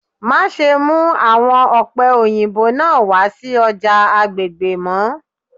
Maṣe mu awọn ope oyinbo naa wa si ọja agbegbe mọ